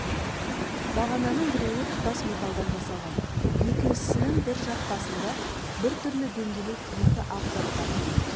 бағананың біреуі тұтас металдан жасалған екіншісінің бір жақ басында біртүрлі дөңгелек екі ақ зат бар